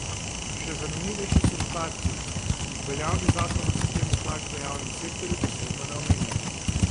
Še zanimivejši so dodatki, ki jih veljavni zakon o sistemu plač v javnem sektorju posebno ne omenja.